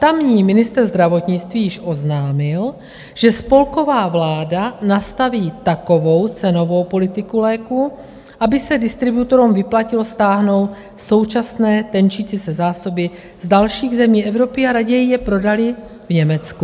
Tamní ministr zdravotnictví již oznámil, že spolková vláda nastaví takovou cenovou politiku léků, aby se distributorům vyplatilo stáhnout současné tenčící se zásoby z dalších zemí Evropy a raději je prodali v Německu.